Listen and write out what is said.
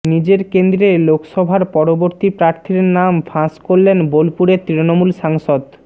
নিজের কেন্দ্রে লোকসভার পরবর্তী প্রার্থীর নাম ফাঁস করলেন বোলপুরের তৃণমূল সাংসদ